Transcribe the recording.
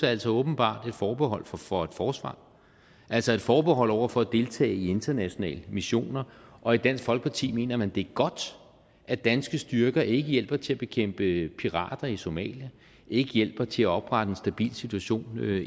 er jo så åbenbart et forbehold for for et forsvar altså et forbehold over for at deltage i internationale missioner og i dansk folkeparti mener man det er godt at danske styrker ikke hjælper til at bekæmpe pirater i somalia ikke hjælper til at oprette en stabil situation